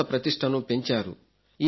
భారత ప్రతిష్టను పెంచారు